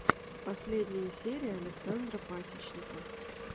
последняя серия александра пасечника